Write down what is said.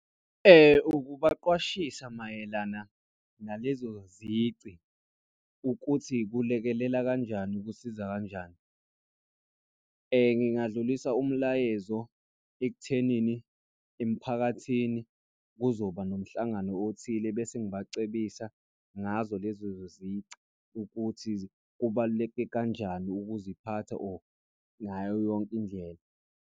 Ukubaqwashisa mayelana nalezo zici ukuthi kulekelela kanjani kusiza kanjani. Ngingadlulisa umlayezo ekuthenini emphakathini kuzoba nomhlangano othile bese ngibacebisa ngazo lezo zici ukuthi kubaluleke kanjani ukuziphatha or ngayo yonke indlela.